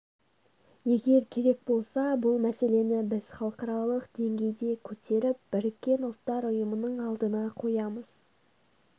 егер керек болса бұл мәселені біз халықаралық деңгейде көтеріп біріккен ұлттар ұйымының алдына қоямыз